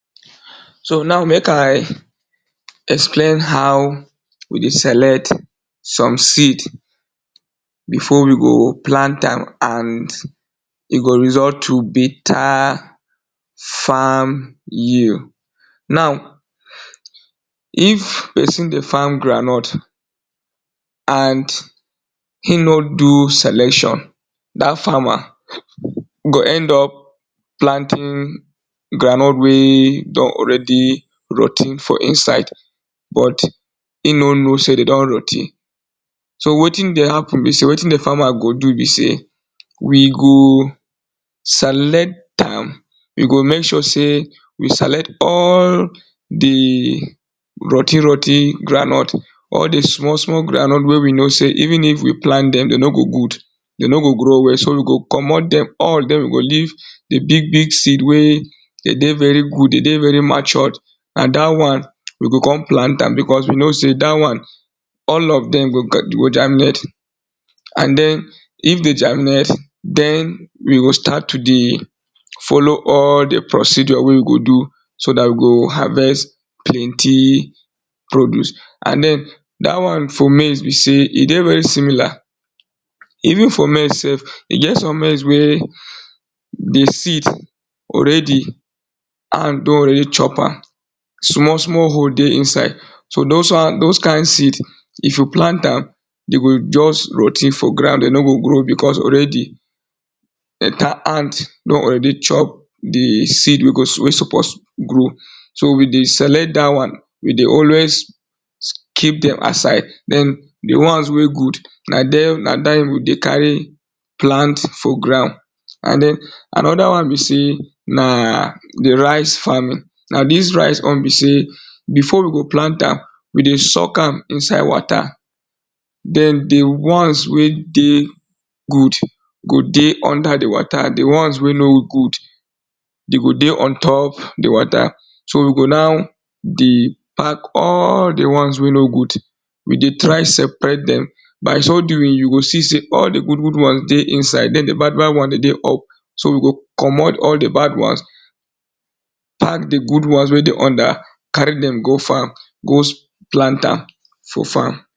So now make I explain how we dey select some seed before we go plant am and e go result to better farm, now if person dey farm groundnut and him no do selection dat farmer go end up planting groundnut wey don already rot ten for inside but e know no sey dey don rot ten so wetin dey happen be sey wetin dey farmer go do be sey we go select am we go make sure sey we select all di rot ten rot ten groundnut all di small small groundnut wey we know sey even if we plant am dem dem no go good dey no go grow well so we go komot dem all of dem we go leave di big big seed wey dey dey very good dey dey very matured na dat one we go come plant am because we know sey dat one all of dem go go germinate and den if dey germinate den we go start to dey follow all di procedure wey we go do so dat we go harvest plenty produce and den dat one for maize be sey e dey very similar, even for maize self e get some maize wey di seed already ant don already chop am small small hole dey inside so dos ones dos kind seed if you plant am dey go just rot ten for ground dey no go grow because already ants don already chop di seed wey go suppose grow so we dey select dat one we dey always keep dem aside den dey ones wey good na dem na dem we dey carry plant for ground and den another one be sey na di rice farming na dis rice own be sey before we go plant am we dey soak am inside water den di ones wey dey go dey under di water di ones wey no good dey go dey ontop di water so we go now di pack all di ones wey no good, we dey try separate dem by so doing you go see sey all di good good ones dey inside den di bad bad ones dey dey up so we go komot all di bad ones pack di good ones wey dey under carry dem go farm go plant am for farm.